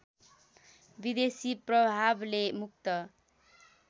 विदेशी प्रभावले मुक्त